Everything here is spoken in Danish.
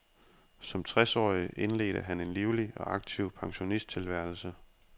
Som tres årig indledte han en livlig og aktiv pensionisttilværelse.